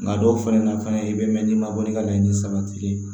Nka dɔw fɛnɛ na fana i bɛ mɛn n'i ma bɔ ni ka laɲini sabatilen ye